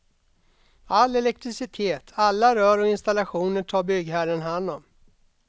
All elektricitet, alla rör och installationer tar byggherren hand om.